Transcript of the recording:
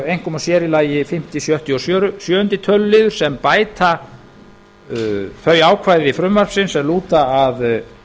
einkum og sér í lagi fimmta sjötta og sjöunda töluliðir sem bæta þau ákvæði frumvarpsins sem lúta að